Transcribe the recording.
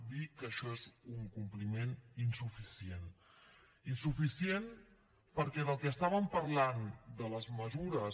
dir que això és un compliment insuficient insuficient perquè del que estàvem parlant de les mesures